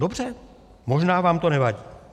Dobře, možná vám to nevadí.